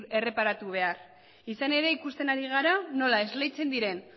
erreparatu behar izan ere ikusten ari gara nola esleitzen diren